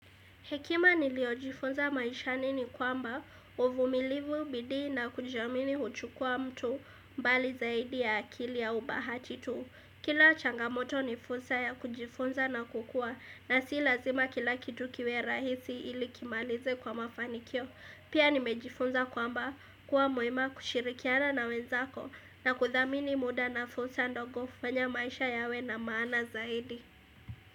Hekima niliyo jifunza maishani ni kwamba uvumilivu bidii na kujiamini huchukua mtu mbali zaidi ya akili au bahati tu. Kila changamoto ni fursa ya kujifunza na kukua na si lazima kila kitu kiwe rahisi ili kimalize kwa mafanikio. Pia nimejifunza kwamba kuwa mwema kushirikiana na wenzako na kuthamini muda na fursa ndogo fanya maisha yawe na maana zaidi.